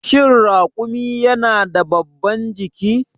Shin raƙumi yana da babban ciki?